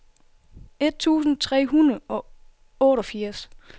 et tusind tre hundrede og otteogfirs